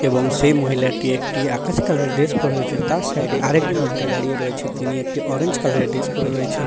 এবং সেই মহিলাটি একটি আকাশি কালার - এর ড্রেস পড়ে রয়েছে তার সাইড - এ আরেকজন মহিলা দাঁড়িয়ে রয়েছে তিনি একটি অরেঞ্জ কালার - এর ড্রেস পরে রয়েছেন।